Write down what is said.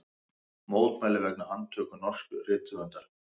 Mótmæli vegna handtöku norsks rithöfundar